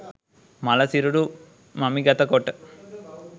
මළ සිරුරු මමිගත කොට